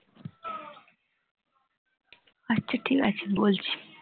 আচ্ছা ঠিক আছে বলছি